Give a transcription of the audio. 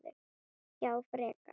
Já, frekar.